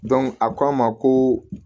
a ko a ma ko